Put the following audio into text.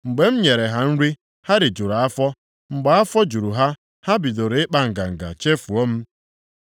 Mgbe m nyere ha nri, ha rijukwara afọ. Mgbe afọ juru ha, ha bidoro ịkpa nganga, chefuo m.